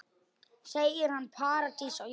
Segir hana paradís á jörð.